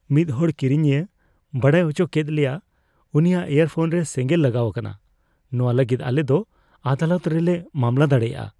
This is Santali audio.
ᱢᱤᱫ ᱦᱚᱲ ᱠᱤᱨᱤᱧᱤᱭᱟᱹ ᱵᱟᱰᱟᱭ ᱚᱪᱚᱠᱮᱫ ᱞᱮᱭᱟ, ᱩᱱᱤᱭᱟᱜ ᱤᱭᱟᱨᱯᱷᱳᱱ ᱨᱮ ᱥᱮᱸᱜᱮᱞ ᱞᱟᱜᱟᱣ ᱟᱠᱟᱱᱟ ᱾ ᱱᱚᱶᱟ ᱞᱟᱹᱜᱤᱫ ᱟᱞᱮ ᱫᱚ ᱟᱫᱟᱞᱚᱛ ᱨᱮ ᱞᱮ ᱢᱟᱢᱞᱟ ᱫᱟᱲᱮᱭᱟᱜᱼᱟ ᱾